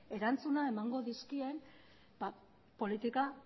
erantzuna emango dizkien politika